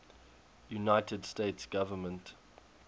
united states government